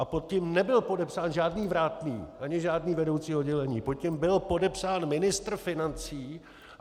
A pod tím nebyl podepsán žádný vrátný ani žádný vedoucí oddělení, pod tím byl podepsán ministr financí.